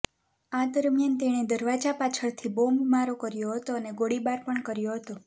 આ દરમિયાન તેણે દરવાજા પાછળથી બોમ્બમારો કર્યો હતો અને ગોળીબાર પણ કર્યો હતો